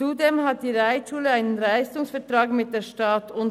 Zudem hat die Reitschule einen Leistungsvertrag mit der Stadt Bern.